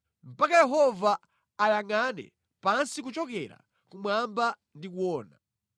mpaka Yehova ayangʼane pansi kuchokera kumwamba ndi kuona.